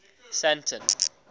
sandton